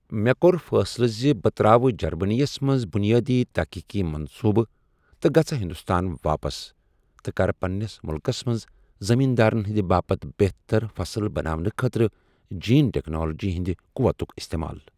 مےٚ کوٚر فٲصلہٕ زِ بہٕ ترٛاوٕ جرمٔنِیَس منٛز بُنیٲدی تٔحقیٖٮقی منصوٗبہٕ تہٕ گَژھٕ ہِنٛدُستان واپس تہٕ کَرٕ پنٛنِس مُلکس منٛز زٔمیٖن دارن ہِنٛدِ باپتھ بہتر فصٕل بناونہٕ خٲطرٕ جیٖن ٹیٚکنالجی ہِنٛدِ قووَتُک اِستعمال۔